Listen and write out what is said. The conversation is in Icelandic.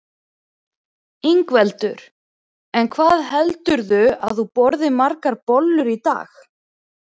Ingveldur: En hvað heldurðu að þú borðir margar bollur í dag?